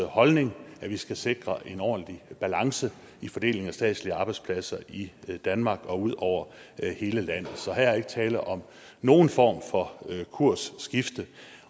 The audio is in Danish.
holdning at vi skal sikre en ordentlig balance i fordelingen af statslige arbejdspladser i danmark og ud over hele landet så her er ikke tale om nogen form for kursskifte